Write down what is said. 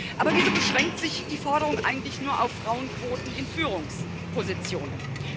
Aber wieso beschränkt sich die Forderung eigentlich nur auf Frauenquoten in Führungspositionen?